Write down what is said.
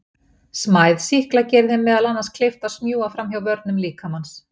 Smæð sýkla gerir þeim meðal annars kleift að smjúga fram hjá vörnum líkamans.